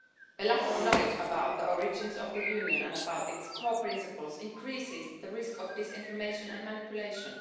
A lack of knowledge about the origins of the Union and about its core principles increases the risk of disinformation and manipulation.